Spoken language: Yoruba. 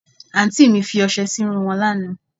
Àǹtí mi fi ọsẹ sí irun wọn lánàá